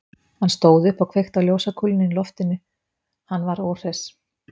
Hann stóð upp og kveikti á ljósakúlunni í loftinu, hann var óhress.